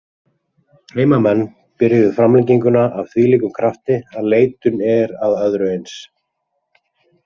Heimamenn byrjuðu framlenginguna af þvílíkum krafti að leitun er að öðru eins.